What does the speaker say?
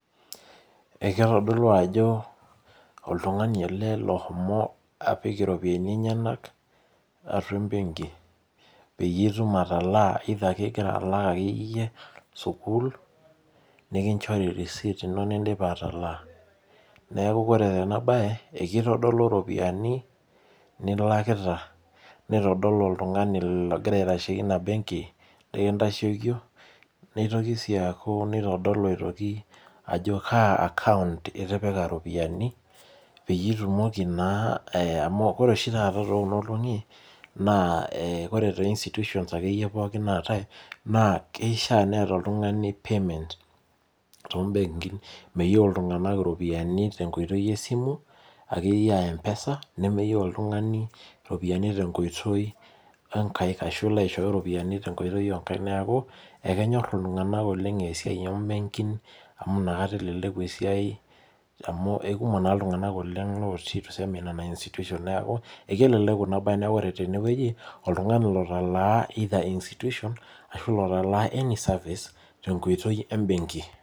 Ekitodolu ajo oltung'ani ele lohomo apik iropiyiani enyanak atua ebenki. Peyie itum atalaa either ake igira alak akeyieyie sukuul, nikinchori risit ino nidipa atalaa. Neeku ore enabae, ekitodolu ropiyiani nilakita, nitodolu oltung'ani logira aitasheki ina benki nikintashokie, nitoki si aku nitodolu aitoki ajo kaa akaunt itipika iropiyiani, peyie itumoki naa amu ore oshi taata tekuna olong'i, naa ore te institution akeyie pookin naatae, naa keishaa neeta oltung'ani payment tobenkin. Meyieu iltung'anak iropiyiani tenkoitoi esimu, akeyie ah M-PESA, neyieu oltung'ani ropiyiani tenkoitoi onkaik ashu ilo aishooyo ropiyiani tenkoitoi onkaik neeku, ekenyor iltung'anak oleng esiai obenkin amu nakata eleleku esiai amu ekumok naa iltung'anak oleng lotii tuseme nena institution. Neeku, ekeleleku inabae neku ore tenewueji, oltung'ani lotalaa either institution, ashu lotalaa any service, tenkoitoi ebenki.